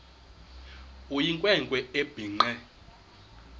eyinkwe nkwe ebhinqe